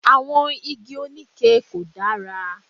Àwọn Igi oníke kò dára.